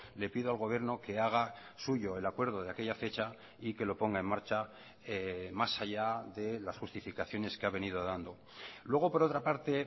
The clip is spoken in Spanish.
le pido al gobierno que haga suyo el acuerdo de aquella fecha y que lo ponga en marcha más allá de las justificaciones que ha venido dando luego por otra parte